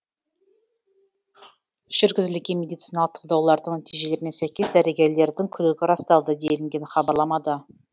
жүргізілген медициналық талдаулардың нәтижелеріне сәйкес дәрігерлердің күдігі расталды делінген хабарламада